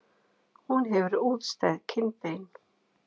Hún hefur útstæð kinnbein.